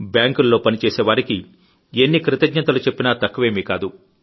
బ్యాంకుల్లో పని చేసే వారికి ఎన్ని కృతజ్ఞతలు చెప్పినా తక్కువేమీ కాదు